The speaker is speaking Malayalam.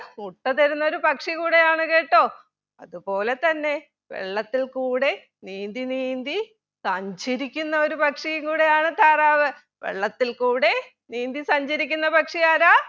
മുട്ട തരുന്ന ഒരു പക്ഷി കൂടെയാണ് കേട്ടോ അത് പോലെ തന്നെ വെള്ളത്തിൽ കൂടെ നീന്തി നീന്തി സഞ്ചരിക്കുന്ന ഒരു പക്ഷിയും കൂടിയാണ് താറാവ് വെള്ളത്തിൽ കൂടെ നീന്തി സഞ്ചരിക്കുന്ന പക്ഷിയാരാ